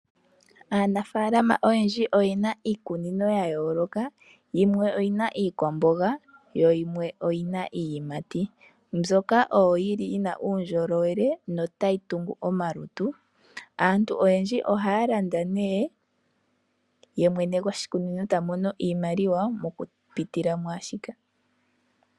Aanafaalama oyendji oyena iikunino ya yooloka. Yimwe oyina iikwamboga yo yimwe oyina iiyimati mbyoka oyo yili yina uundjolowele notayi tungu omalutu. Aantu oyendji ohaya landa nee yemwene goshikunino ta mono iimaliwa mokupitila mwaashika.